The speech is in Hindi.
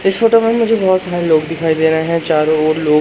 इस फोटो में मुझे बहुत सारे लोग दिखाई दे रहे हैं चारों ओर लोग--